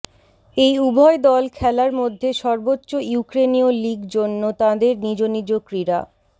এই উভয় দল খেলার মধ্যে সর্বোচ্চ ইউক্রেনীয় লিগ জন্য তাদের নিজ নিজ ক্রীড়া